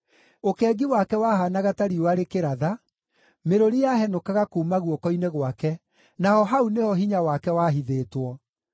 Ũkengi wake wahaanaga ta riũa rĩkĩratha; mĩrũri yahenũkaga kuuma guoko-inĩ gwake, naho hau nĩho hinya wake wahithĩtwo.